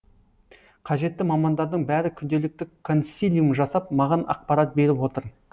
қажетті мамандардың бәрі күнделікті консилиум жасап маған ақпарат беріп отыр